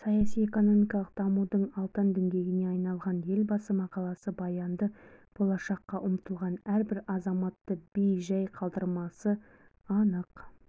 саяси экономикалық дамудың алтын діңгегіне айналған елбасы мақаласы баянды болашаққа ұмтылған әрбір азаматты бей-жәй қалдырмасы анық